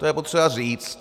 To je potřeba říct.